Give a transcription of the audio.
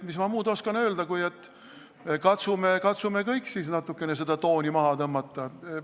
Mis ma muud oskan öelda, kui et katsume kõik natukene tooni maha tõmmata.